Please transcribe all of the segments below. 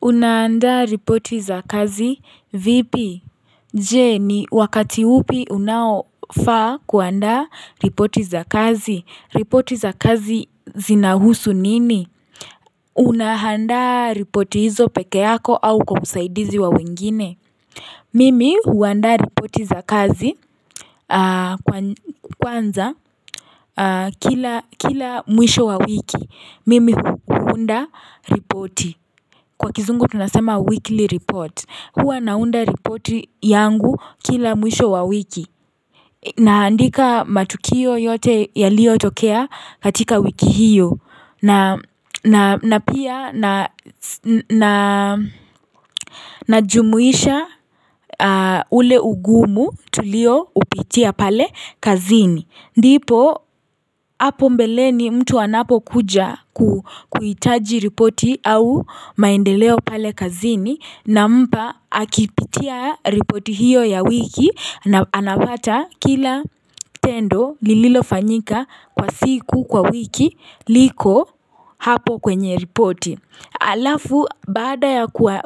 Unaanda ripoti za kazi, vipi? Je, ni wakati upi unaofa kuanda ripoti za kazi. Ripoti za kazi zinahusu nini? Unaanda ripoti hizo peke yako au kwa usaidizi wa wengine. Mimi huanda ripoti za kazi. Kwanza, kila mwisho wa wiki, mimi huunda ripoti. Kwa kizungu tunasema weekly report. Hua naunda ripoti yangu kila mwisho wa wiki naandika matukio yote ya lio tokea katika wiki hiyo na pia na Najumuisha ule ugumu tulio upitia pale kazini ndipo hapo mbeleni mtu anapo kuja kuitaji ripoti au maendeleo pale kazini nampa akipitia ripoti hiyo ya wiki na anapata kila tendo lililo fanyika kwa siku kwa wiki liko hapo kwenye ripoti alafu bada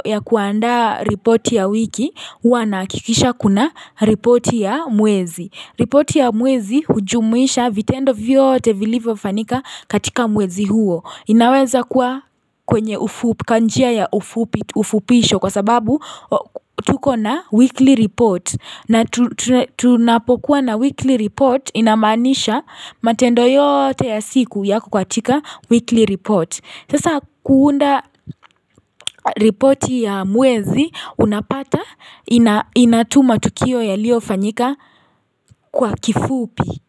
ya kuanda ripoti ya wiki wanakikisha kuna ripoti ya mwezi ripoti ya mwezi hujumuisha vitendo vyote vilivo fanyika katika mwezi huo inaweza kuwa kwenye ufupi kanjia ya ufupi ufupisho kwa sababu tuko na weekly report na tunapokuwa na weekly report inamanisha matendo yote ya siku ya kukwatika weekly report Sasa kuunda report ya muwezi unapata inatuma tukio yalio fanyika kwa kifupi.